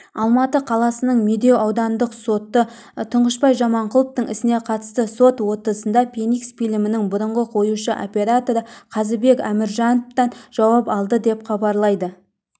алматы қаласының медеу аудандық соты тұңғышбай жаманқұловтың ісіне қатысты сот отырысында феникс фильмінің бұрынғы қоюшы-операторы қазыбек әміржановтан жауап алды деп хабарлайды